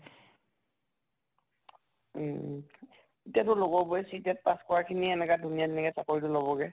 উম তোৰ লগৰ বোৰে CTET pass কৰা খিনিয়ে এনেকা ধুনিয়ে ধুনিয়াকে চাকৰিটো লʼব্গে।